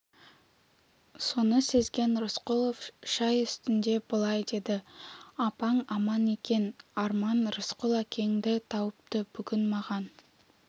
соны сезген рысқұлов шай үстінде былай деді апаң аман екен арман рысқұл әкеңді тауыпты бүгін маған